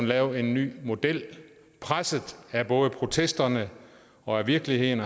lave en ny model presset af både protesterne og af virkeligheden